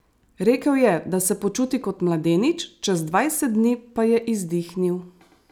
Rekel je, da se počuti kot mladenič, čez dvajset dni pa je izdihnil.